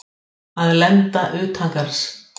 Að lenda utangarðs